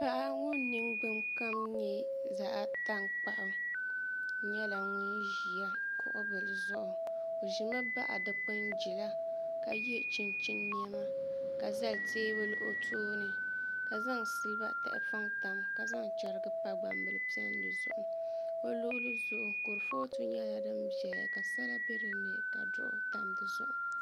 Paɣa ŋun ningbuni kom nyɛ zaɣ tankpaɣu nyɛla ŋun ʒi kuɣu bili zuɣu o ʒimi baɣa dikpuni jila ka yɛ chinchin niɛma ka zali teebuli o tooni ka zaŋ silba tahapoŋ tam ka zaŋ chɛrigi pa gbambili piɛlli zuɣu o luɣuli zuɣu kurifooti nyɛla din ʒɛya ka sala bɛ dinni ka duɣu tam dizuɣu